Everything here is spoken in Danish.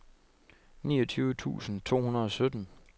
niogtyve tusind to hundrede og sytten